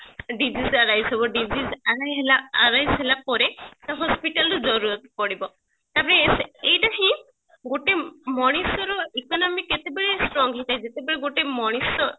disease arise ହେବ disease ari ହେଲା arise ହେଲା ପରେ ତ hospital ର ଜରୁରତ ପଡିବ ତାପରେ ଏ ଏଇଟା ହିଁ ଗୋଟେ ମଣିଷ ର economy କେତେବେଳେ strong ହେଇଥାଏ ଯେତେବେଳେ ମଣିଷ